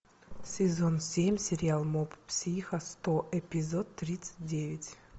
сезон семь сериал моб психо сто эпизод тридцать девять